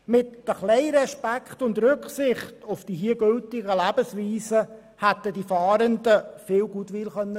Mit ein wenig Respekt und Rücksichtnahme auf die hier geltenden Lebensweisen hätten die Fahrenden viel Goodwill schaffen können.